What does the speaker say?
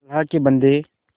अल्लाह के बन्दे